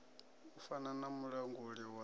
u fana na mulanguli wa